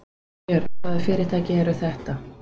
Þorbjörn: Hvaða fyrirtæki eru þetta?